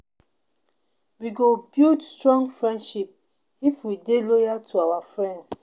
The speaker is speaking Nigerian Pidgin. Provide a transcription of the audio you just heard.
We go build strong friendship if we dey loyal to our friends.